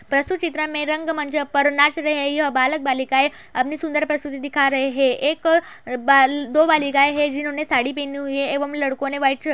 प्रस्तुत चित्रा में रंग मंच पर नाच रहे है। यह बालक बालिकाऐ अपनी सुन्दर प्रस्तुति दिखा रहे है। एक बाल दो बालिकाये है जिन्हने साड़ी पहनी हुई है एवं लड़को ने व्हाइट शर्ट --